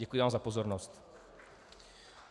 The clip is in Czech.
Děkuji vám za pozornost.